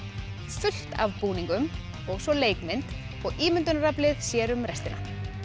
fullt af búningum og svo leikmynd og ímyndunaraflið sér um restina